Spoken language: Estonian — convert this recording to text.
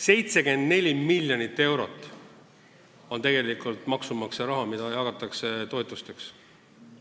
74 miljonit eurot maksumaksja raha jagatakse toetusteks.